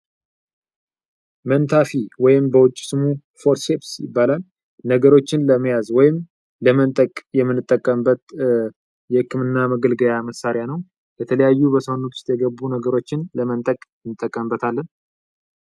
መንታፊ ወይም ፎርሴስ ነገሮችን ለመያዝ ወይም ለመንጠቅ የመጠቀም የህክምና መገልገያ መሣሪያ ነው የተለያዩ ነገሮችን ለመንጠቅ እንጠቀምበታለን።